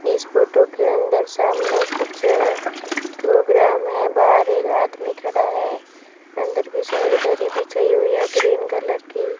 इस फोटो के अंदर सामने कुछ प्रोग्राम है बाहर एक आदमी खड़ा है अंदर की साइड दरी बिछाई हुई है ग्रीन कलर की।